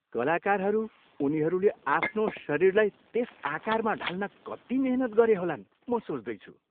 कलाकारहरू, उनीहरूले आफ्नो शरीरलाई त्यस आकारमा ढाल्न कति मेहनत गरे होलान्, म सोच्दैछु।